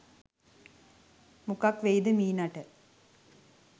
මොකක් වෙයිද මීනාට